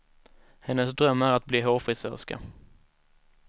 Hennes dröm är att bli hårfrisörska.